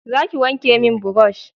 za ki wanke mun burosh